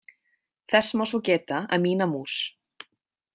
Þess má svo geta að Mína mús.